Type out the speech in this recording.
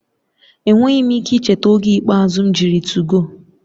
Enweghị m ike icheta oge ikpeazụ m jiri 2go